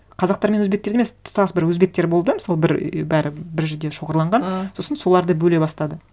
қазақтар мен өзбектерді емес тұтас бір өзбектер болды мысалы бір і бәрі бір жерде шоғырланған ы сосын соларды бөле бастады